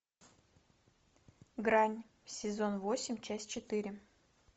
грань сезон восемь часть четыре